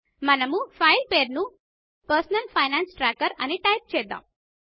మనము ఫైల్ పేరును personal finance tracker అని టైప్ చేద్దాము